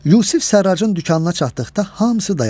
Yusif Sərracın dükanına çatdıqda hamısı dayandı.